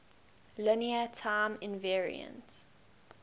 linear time invariant